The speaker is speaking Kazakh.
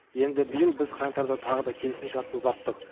енді биыл біз қаңтарда тағы да келісімшартты ұзарттық